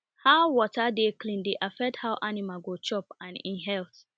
how water dey clean dey affect how animal go chop and e health